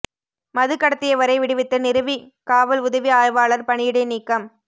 மது கடத்தியவரை விடுவித்த நிரவி காவல் உதவி ஆய்வாளா் பணியிடை நீக்கம்